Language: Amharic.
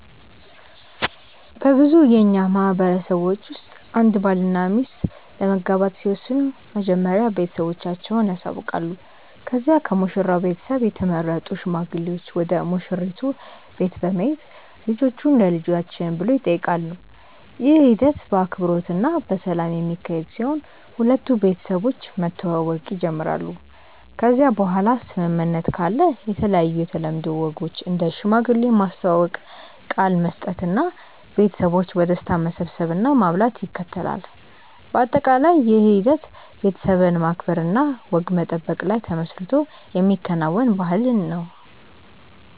በብዙ የእኛ ማህበረሰቦች ውስጥ አንድ ባልና ሚስት ለመጋባት ሲወስኑ መጀመሪያ ቤተሰቦቻቸውን ያሳውቃሉ ከዚያ ከሙሽራው ቤተሰብ የተመረጡ ሽማግሌዎች ወደ ሙሽራይቱ ቤት በመሄድ ልጆቹን ለልጆችን ብሎ ይጠይቃሉ። ይህ ሂደት በአክብሮት እና በሰላም የሚካሄድ ሲሆን ሁለቱ ቤተሰቦች መተዋወቅ ይጀምራሉ ከዚያ በኋላ ስምምነት ካለ የተለያዩ የተለምዶ ወጎች እንደ ሽማግሌ ማስተዋወቅ፣ ቃል መስጠት እና ቤተሰቦች በደስታ መሰብሰብ እና ማብላት ይከተላል። በአጠቃላይ ይህ ሂደት ቤተሰብን ማክበር እና ወግ መጠበቅ ላይ ተመስርቶ የሚከናወን ባህልን ነው።